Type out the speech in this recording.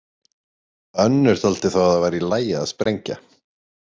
Önnur taldi þó að það væri í lagi að sprengja.